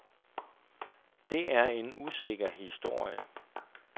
Det er en usikker historie.